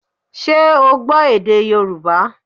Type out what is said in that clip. Ṣé o gbọ́ èdè Yorùbá